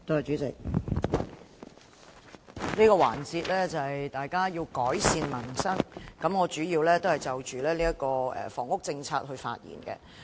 主席，這個環節討論的是"改善民生"，我主要就房屋政策發言。